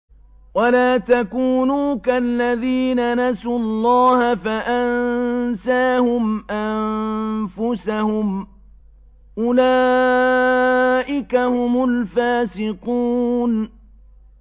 وَلَا تَكُونُوا كَالَّذِينَ نَسُوا اللَّهَ فَأَنسَاهُمْ أَنفُسَهُمْ ۚ أُولَٰئِكَ هُمُ الْفَاسِقُونَ